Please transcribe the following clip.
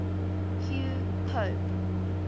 hugh pope